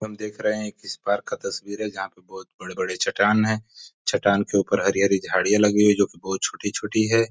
हम देख रहे है किस बार का तस्बीर है जहाँ पे बड़े बड़े चट्टान है चट्टान के ऊपर हरी हरी झाडयां लगी हुई है जो की बहोत छोटी छोटी है|